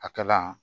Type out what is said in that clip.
A kala